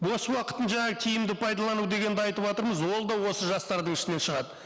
бос уақытын жаңағы тиімді пайдалану дегенді айтыватырмыз ол да осы жастардың ішінен шығады